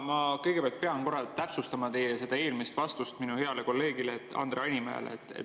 Ma kõigepealt pean korra täpsustama teie eelmist vastust minu heale kolleegile Andre Hanimäele.